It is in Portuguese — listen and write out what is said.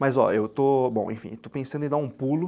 Mas ó, eu estou pensando em dar um pulo.